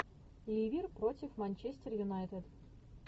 ливер против манчестер юнайтед